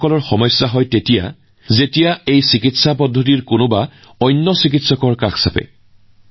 কিন্তু তেওঁলোকৰ ৰোগীয়ে একে পদ্ধতিৰে আন যিকোনো চিকিৎসকৰ ওচৰলৈ গলে সমস্যাৰ সন্মুখীন হয়